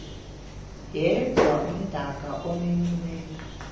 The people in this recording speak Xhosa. yedwa umdaka omenyiweyo